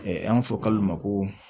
An b'a fɔ kalo de ma ko